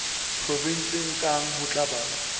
provenseng kang ho tla ba